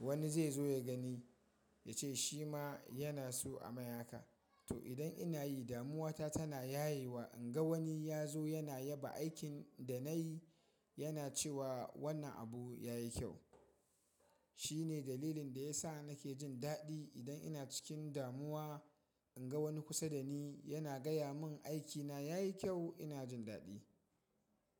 wani zai zo ya gani ya ce shi ma yana so a mai haka. To idan ina yi damuwa ta tana yayewa, in ga wani ya zo yana yaba aikin da na yi, yana cewa wannan abu ya yi kyau. Shi ne dalilin da ya sa nake jin daɗi idan ina cikin damuwa, in ga wani kusa da ni yana gaya mun aikina ya yi kyau ina jin daɗi.